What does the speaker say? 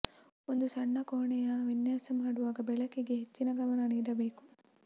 ಒಂದು ಸಣ್ಣ ಕೋಣೆಯ ವಿನ್ಯಾಸ ಮಾಡುವಾಗ ಬೆಳಕಿಗೆ ಹೆಚ್ಚಿನ ಗಮನ ನೀಡಬೇಕು